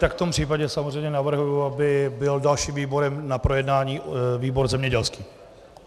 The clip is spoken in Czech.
Tak v tom případě samozřejmě navrhuji, aby byl dalším výborem na projednání výbor zemědělský.